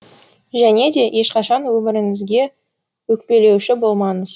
және де ешқашан өміріңізге өкпелеуші болмаңыз